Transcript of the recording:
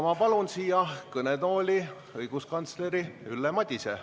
Ma palun kõnetooli õiguskantsler Ülle Madise.